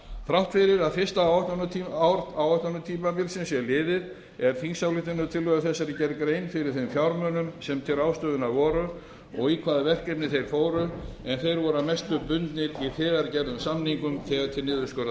þrátt fyrir að fyrsta ár áætlunartímabilsins sé liðið er í þingsályktunartillögu þessari gerð grein fyrir þeim fjármunum sem til ráðstöfunar voru og í hvaða verkefni þeir fóru en þeir voru að mestu bundnir í þegar gerðum samningum þegar til